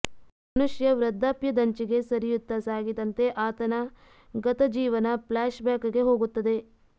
ಮನುಷ್ಯ ವೃದ್ಧಾಪ್ಯದಂಚಿಗೆ ಸರಿಯುತ್ತಸಾಗಿದಂತೆ ಆತನ ಗತಜೀವನ ಫ್ಲಾಶ್ಬ್ ಬ್ಯಾಕ್ ಗೆ ಹೋಗುತ್ತದೆ